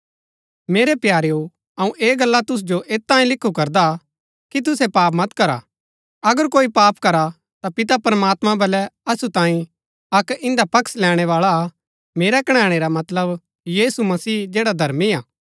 मेरै प्यारेओ अऊँ ऐह गल्ला तुसु जो ऐत तांऐ लिखु करदा कि तुसै पाप मत करा अगर कोई पाप करा ता पिता प्रमात्मां बल्लै असु तांई अक्क इन्दा पक्ष लैणै बाळा हा मेरा कणैणै रा मतलब यीशु मसीह जैड़ा धर्मी हा